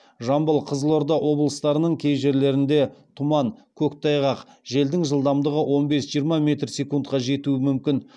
жамбыл қызылорда облыстарының кей жерлерінде тұман көктайғақ желдің жылдамдығы он бес жиырма метр секундқа жетуі мүмкін